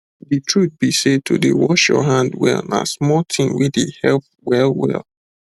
the truth be sey to dey wash your hand well na small thing wey dey help well well